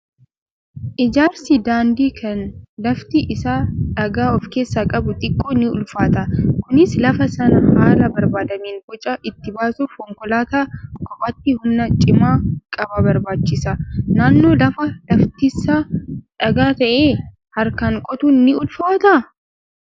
Ijaarsi daandii kan lafti isaa dhagaa of keessaa qabuu xiqqoo ni ulfaata. Kunis lafa sana haala barbaadameen boca itti baasuuf konkolaataa kophaatti humna cimaa qaba barbaachisa. Naannoo lafa laftisaa dhagaa ta'ee harkaan qotuun ni ulfaataa?